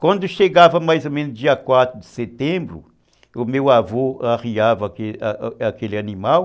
Quando chegava mais ou menos dia quatro de setembro, o meu avô arriava aquele animal.